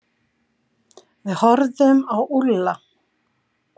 Við horfðum á Úlla.